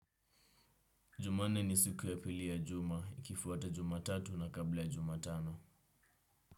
Jumanne ni siku ya pili ya juma, ikifuata jumatatu na kabla ya jumatano.